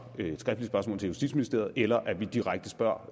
et skriftligt spørgsmål til justitsministeriet eller at vi direkte spørger